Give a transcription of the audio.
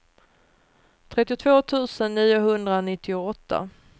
trettiotvå tusen niohundranittioåtta